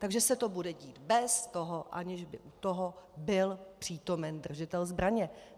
Takže se to bude dít bez toho, aniž by u toho byl přítomen držitel zbraně.